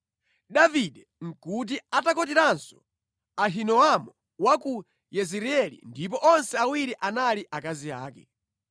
Davide nʼkuti atakwatiranso Ahinoamu wa ku Yezireeli ndipo onse awiri anali akazi ake.